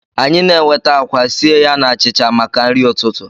Anyị na-enweta akwa sie ya na achịcha maka nri ụtụtụ